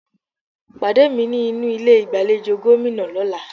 Pàdé mi ní inú ilé ìgbàlejò Gómìnà lọ́là